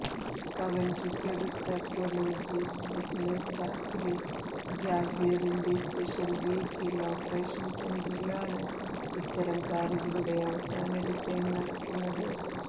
കവൻട്രിക്കടുത്ത Prologis business പാർക്കിലെ ജാഗ്വറിന്റെ special vehicle operation സെന്ററിലാണ് ഇത്തരം കാറുകളുടെ അവസാന ഡിസൈൻ നടക്കുന്നത്